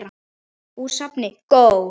Úr safni GÓ.